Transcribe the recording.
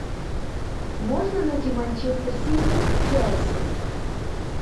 можно найти манчестер сити челси